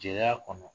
Jɛya kɔnɔ